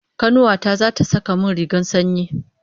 Kanuwa ta zata saka min rigar sanyi